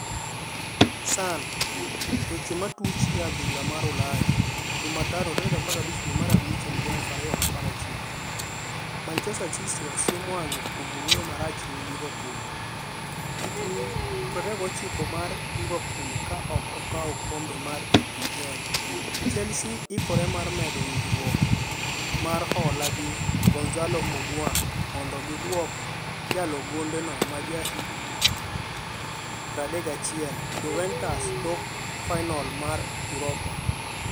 (Sun) Weche matuch e adhula mar Ulaya Jumatano 15.05.2019. Manchester City osiem wang'e kuom wuoyo marach ne Liverpool. Higni 29 mar Liverpool ka ok okaw okombe mar EPL .Chelsea hikore mar medo winjruok mar hola gi Gonzalo Higuain kmondo giduok jalo gonde no maja higni 31 Juventus tok fainol mar Europa.